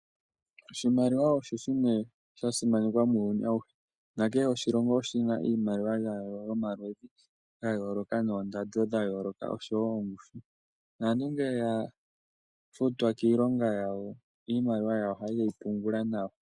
Oshimaliwa osho shimwe sha simanekwa muuyuni awuhe. Nakehe oshilongo oshi na iimaliwa yawo yomaludhi gayooloka noondando dha yooloka oshowo oongushu. Naantu ngele ya futwa kiilonga yawo, iimaliwa yawo ohaye yi pungula nawa.